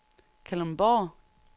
Kalundborg